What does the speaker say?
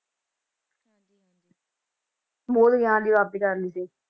ਬੋਧ ਗਿਆਨ ਦੀ ਪ੍ਰਾਪਤੀ ਕਰ ਲਈ ਸੀ।